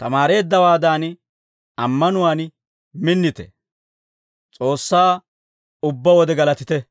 tamaareeddawaadan ammanuwaan minnite; S'oossaa ubbaa wode galatite.